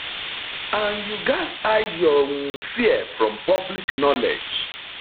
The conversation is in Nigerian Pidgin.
and you gatz hide your um fear from public knowledge